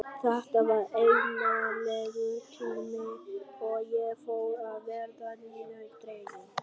Þetta var einmanalegur tími og ég fór að verða niðurdregin.